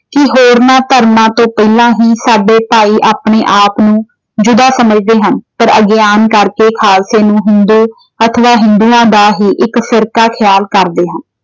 ਕਿ ਹੋਰਨਾਂ ਧਰਮਾਂ ਤੋਂ ਪਹਿਲਾਂ ਹੁਣ ਸਾਡੇ ਭਾਈ ਆਪਣੇ ਆਪ ਨੂੰ ਯੁਦਾ ਸਮਝਦੇ ਹਨ। ਪਰ ਅਗਿਆਨ ਕਰਕੇ ਖਾਲਸੇ ਨੂੰ ਹਿੰਦੂ ਅਥਵਾ ਹਿੰਦੂਆਂ ਦਾ ਹੀ ਇੱਕ ਸਿਰਕਾ ਖਿਆਲ ਕਰਦੇ ਹਾਂ।